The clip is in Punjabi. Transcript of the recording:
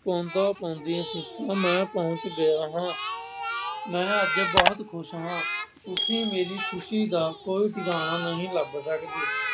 ਪਾਉਂਦਾ ਪਾਉਂਦੀਆਂ ਚਿੱਠੀਆਂ ਮੈਂ ਪਹੁੰਚ ਗਿਆਂ ਹਾਂ। ਮੈਂ ਅੱਜ ਬਹੁਤ ਖੁਸ਼ ਹਾਂ। ਤੁਸੀਂ ਮੇਰੀ ਖੁਸ਼ੀ ਦਾ ਕੋਈ ਟਿਕਾਣਾ ਨਹੀਂ ਲੱਭ ਸਕਦੇ।